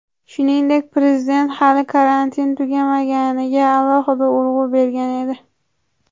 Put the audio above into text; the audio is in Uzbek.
Shuningdek, Prezident hali karantin tugamaganiga alohida urg‘u bergan edi.